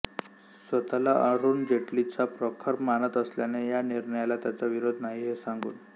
स्वत ला अरुन जैटलीचा प्रखर मानत असल्याने या निर्णयाला त्याचा विरोध नाही हे सांगून